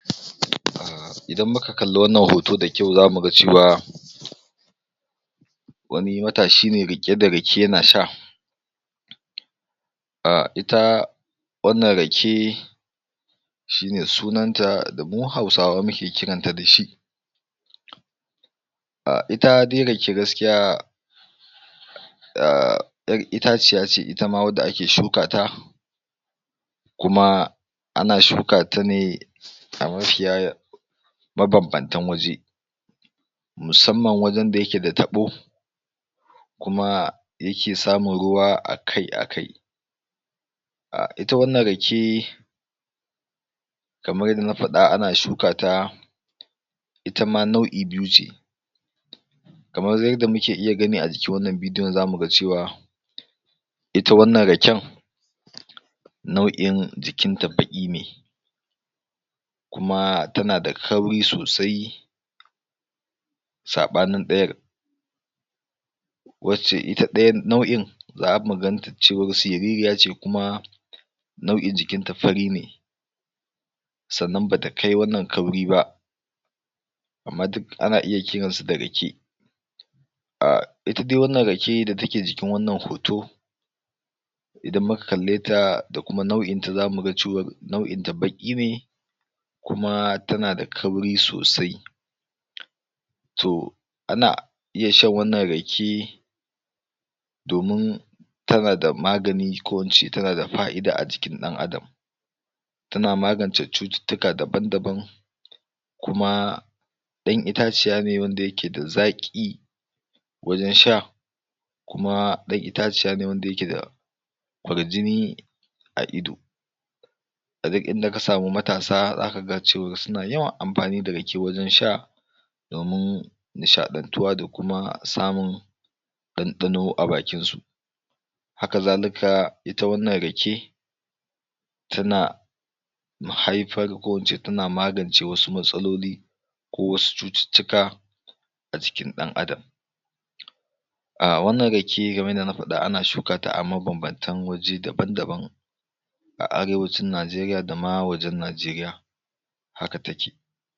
idan muka kalla wannan hoto da kyau zamu ga cewa wani matashi ne riƙe da rake yana sha um ita wannan rake shi ne sunan ta da mu Hausawa muke kiran ta da shi um ita dai rake gaskiya ƴar itaciya ce ita ma wanda ake shuka ta kuma ana shuka ta ne a mafiya mabanbantan waje musamman wajen da yake da taɓo kuma yake samun ruwa akai-akai um ita wannan rake kamar yadda na faɗa ana shuka ta ita ma nau'i biyu ce kamar yadda muke iya gani a jikin wannan bidiyon zamu ga cewa ita wannan raken nau'in jikinta baƙi ne kuma tana da kauri sosai saɓanin ɗayar wacce ita ɗayan nau'in zamu gan ta cewar siririya ce kuma nau'in jikin ta fari ne sannan bata kai wannan kauri ba amma duka ana iya kiran su da rake um ita dai wannan rake da take jikin wannan hoto idan muka kalle ta da kuma nau'in ta zamu ga cewar nau'in ta baƙi ne kuma tana da kauri sosai to ana iya shan wannan rake domin tana da magani ko in ce tana da fa'ida a jikin ɗan Adam tana magance cututtuka daban-daban kuma ɗan itaciya ne wanda yake da zaƙi wajen sha kuma ɗan itaciya ne wanda yake da kwarjini a ido a duk inda ka samu matasa zakaga suna yawan amfani da rake wajen sha domin nishaɗantuwa da kuma samun ɗanɗano a bakin su haka zalika ita wannan rake tana haifar ko ince tana magance wasu matsaloli ko wasu cututtuka a jikin ɗan Adam um wannan rake kamar yadda na faɗa ana shuka ta a mabanbantan waje daban-daban a arewacin Najeriya dama wajen Najeriya haka take